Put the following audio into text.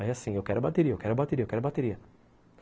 Aí assim, eu quero a bateria, eu quero a bateria, eu quero a bateria.